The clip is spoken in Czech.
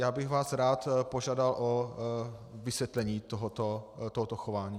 Já bych vás rád požádal o vysvětlení tohoto chování.